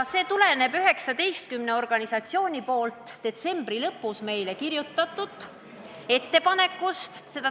See põhineb 19 organisatsiooni poolt detsembri lõpus meile saadetud ettepanekul.